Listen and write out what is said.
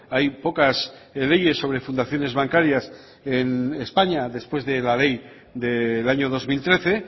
hay pocas leyes sobre fundaciones bancarias en españa después de la ley del año dos mil trece